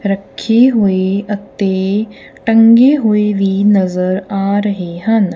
ਰੱਖੀ ਹੋਈ ਅਤੇ ਟੰਗੀ ਹੋਈ ਵੀ ਨਜ਼ਰ ਆ ਰਹੀ ਹਨ।